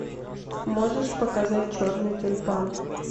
можешь показать черный тюльпан